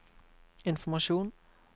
informasjon